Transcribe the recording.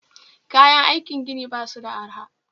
Kayan aiki gini basu da arha